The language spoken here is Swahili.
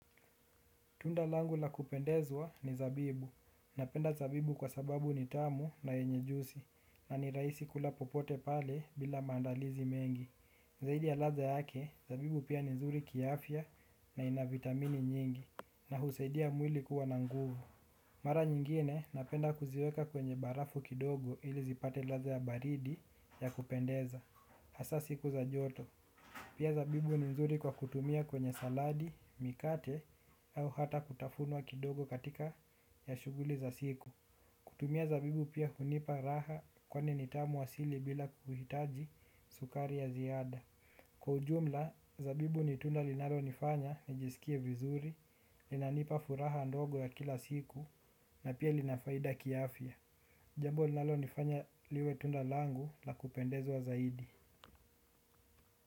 Tundalangu la kupendezwa ni zabibu. Napenda zabibu kwa sababu nitamu na yenye jusi na niraisi kula popote pale bila mandalizi mengi. Zaidi ya latha yake, zabibu pia ni nzuri kiafya na ina vitamini nyingi na husaidia mwili kuwa na nguvu. Mara nyingine napenda kuziweka kwenye barafu kidogo ili zipate latha ya baridi ya kupendeza. Asa siku za joto. Pia zabibu ni mzuri kwa kutumia kwenye saladi, mikate au hata kutafunua kidogo katika ya shuguli za siku. Kutumia zabibu pia hunipa raha kwani nitamu asili bila kuhitaji sukari ya ziada. Kwa ujumla, zabibu ni tunda linalo nifanya nijisikie vizuri, linanipa furaha ndogo ya kila siku na pia linafaida kiafya. Jambo linalo nifanya liwe tunda langu la kupendezwa zaidi.